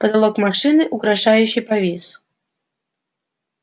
потолок машины угрожающе провис